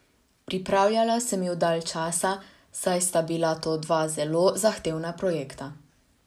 Pripravljala sem ju dalj časa, saj sta bila to dva zelo zahtevna projekta.